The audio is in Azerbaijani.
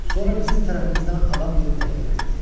Sonra bizim tərəfimizdən adam gedib təklif etdi.